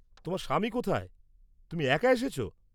তোমার স্বামী কোথায়, তুমি একা এসেছো?